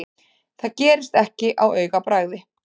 Það gerist ekki á augabragði.